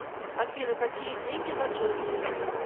афина какие деньги на джерси